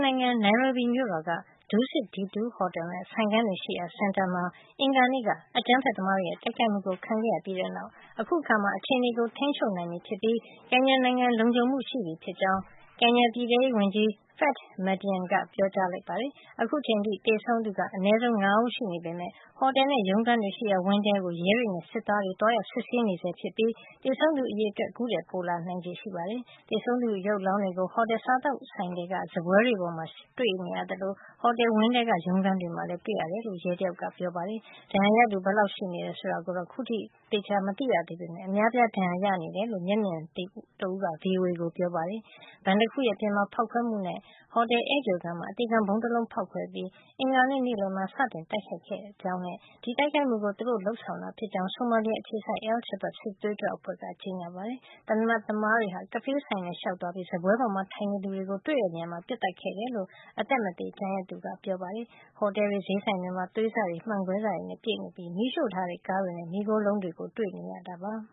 နိုင်ငံ နိုင်ရိုဘီမြို့တော်က DusitD2 ဟော်တယ်နဲ့ ဆိုင်ခန်းတွေရှိရာစင်တာ မှာ အင်္ဂါနေ့က အကြမ်းဖက်သမားတွေရဲ့ တိုက်ခိုက်မှုကို ခံခဲ့ရပြီးတဲ့နောက် အခုအခါမှာ အခြေနေကို ထိန်းချုပ်နိုင်ပြီးဖြစ်ပြီး ကင်ညာနိုင်ငံမှာ လုံခြုံမှုရှိပြီဖြစ်ကြောင်း ကင်ညာပြည်ထဲရေးဝန်ကြီး Fred Matiang ကပြောပါတယ်။ အခုအချိန်ထိ သေဆုံးသူက အနဲဆုံး ၅ ဦး ရှိနေပေမယ့် ဟော်တယ်နဲ့ ရုံးခန်းတွေရှိရာ ဝင်းထဲကို ရဲတွေနဲ့ စစ်သားတွေ သွားရောက် စစ်ဆေးနေဆဲ ဖြစ်ပြီး သေဆုံးသူ အရေအတွက်ကတော့ အခုထက်ပိုလာနိုင်ပါတယ်။ သေဆုံးသူတွေရဲ့ အလောင်းတွေကို ဟော်တယ် စားသောက်ဆိုင်ထဲက စားပွဲတွေပေါ်မှာ တွေ့နေရသလို ဟော်တယ်ဝင်းထဲက ရုံးခန်းတွေ မှာလည်း တွေ့နေရတယ်လို့ ရဲတယောက်က ပြောပါတယ်။ ဒဏ်ရာရသူ ဘယ်လောက်ရှိနေတယ် ဆိုတာကို ခုထိသေသေချာချာ မသိရသေးပေမယ့် အများအပြား ဒဏ်ရာရတယ်လို့ မျက်မြင်တွေ့သူတဦးက VOA ကို ပြောပါတယ်။ ဘဏ်တခုရဲ့ အပြင်မှာ ဖေါက်ခွဲမှုတခုနဲ့ ဟော်တယ် ဧည့်ကြိုခန်းမှာ အသေခံ ဗုံးတလုံး ဖေါက်ခွဲပြီး အင်္ဂါနေ့ နေ့လည်မှာ စတင် တိုက်ခိုက်ခဲ့ကြောင်းနဲ့ ဒီတိုက်ခိုက်မှုကို သူတို့ လုပ်ဆောင်တာဖြစ်ကြောင်း ဆိုမာလီယာ အခြေစိုက် al-Shabab စစ်သွေးကြွ အဖွဲ့က ကြေညာခဲ့ပါတယ်။ သေနတ်သမားတွေဟာ ကဖေးဆိုင်ထဲလျှောက်သွားပြီး စားပွဲမှာထိုင်နေသူတွေကို တွေ့တဲ့နေရာတွေမှာပဲ ပစ်သတ်ခဲ့တယ်လို့ အသက်မသေ ကျန်ရစ်သူတွေက ပြောပါတယ်။ ဟော်တယ်တွေ ဈေးဆိုင်တွေမှာ သွေးတွေ၊ မှန်ကွဲစတွေနဲ့ ပြည့်နေပြီး မီးရှို့ထားတဲ့ ကားတွေနဲ့ မီးခိုးလုံးတွေ ကိုတွေ့နေရတာပါ။